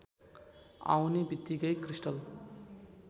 आउने बित्तिकै क्रिस्टल